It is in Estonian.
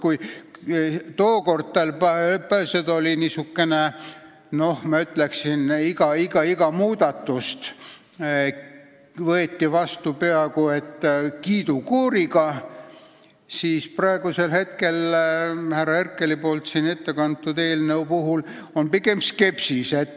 Kui tookord oli olukord niisugune, ma ütleks, et iga muudatust võeti vastu peaaegu kiidukooriga, siis praegu selle eelnõu puhul, mille härra Herkel siin ette kandis, on pigem skepsist.